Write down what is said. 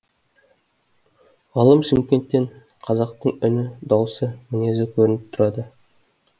ғалым шымкенттен қазақтың үні дауысы мінезі көрініп тұрады